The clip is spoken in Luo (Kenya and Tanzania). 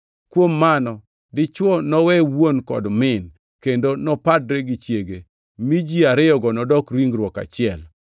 “Kuom mano dichwo nowe wuon kod min, kendo nopadre gi chiege, mi ji ariyogo nodok ringruok achiel.” + 5:31 \+xt Chak 2:24\+xt*